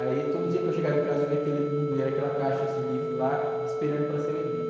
Aí todo dia que eu chegava em casa, eu via aquele, aquela caixa de livros lá, esperando para ser vendido.